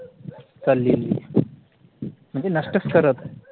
चाललेली ए म्हणजे नष्टच करत आहे